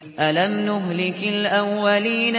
أَلَمْ نُهْلِكِ الْأَوَّلِينَ